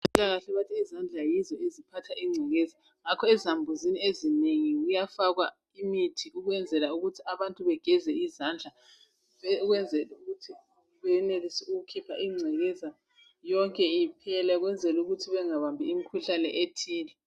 Bathi izandla yizo eziphatha ingcekeza ngakho ezambuzini ezinengi kuyafakwa imithi ukwenzela ukuthi abantu begeze izandla ukuze benelise ukukhipha ingcekeza yonke iphele bengabambi imkhuhlane ethile.